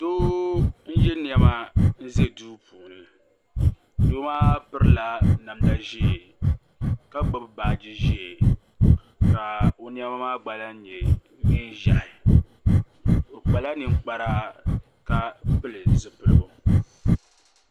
Doo n yɛ niɛma n ʒɛ duu puuni doo maa pirila namda ʒiɛ ka gbubi baaji ʒiɛ ka o niɛma maa gba lahi nyɛ neen ʒiɛhi o kpala ninkpara ka pili zipiligu